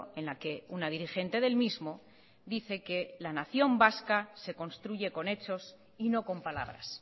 en la que una dirigente del mismo dice que la nación vasca se construye con hechos y no con palabras